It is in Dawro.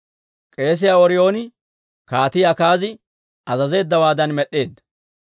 K'eesiyaa Ooriyooni Kaatii Akaazi azazeeddawaadan med'd'eedda.